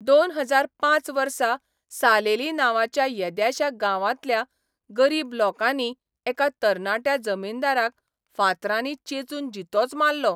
दोन हजार पांच वर्सा सालेली नांवाच्या येद्याश्या गांवांतल्या गरीब लोकांनी एका तरणाट्या जमीनदाराक फांतरांनी चेंचून जितोच मारलो.